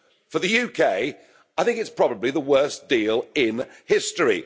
for the UK, I think it's probably the worst deal in history.